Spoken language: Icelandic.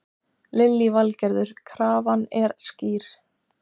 Valdimar Bægslagangur hafði tvo um þrítugt, þegar þetta var.